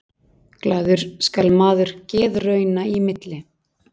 Glaður skal maður geðrauna í milli.